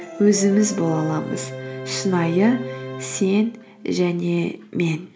өзіміз бола аламыз шынайы сен және мен